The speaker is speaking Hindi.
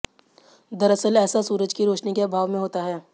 दरअसल ऐसा सूरज की रोशनी के अभाव में होता है